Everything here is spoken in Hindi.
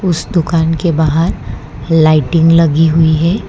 उस दुकान के बाहर लाइटिंग लगी हुईं हैं।